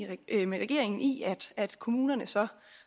vi enige med regeringen i at kommunerne så